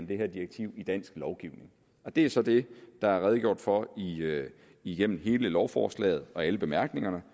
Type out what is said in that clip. det her direktiv i dansk lovgivning det er så det der er redegjort for igennem hele lovforslaget og i bemærkningerne